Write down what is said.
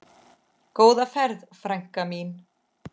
Góða ferð, frænka mín.